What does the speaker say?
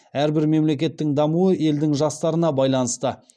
әрбір мемлекеттің дамуы елдің жастарына байланысты